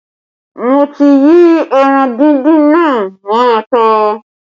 Mo ti yí ẹran díndín náà mọ́ ata